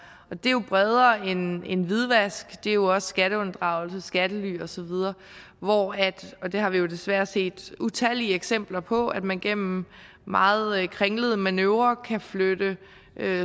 og det er bredere end hvidvask det er jo også skatteunddragelse skattely osv og og det har vi desværre set utallige eksempler på altså at man gennem meget kringlede manøvrer kan flytte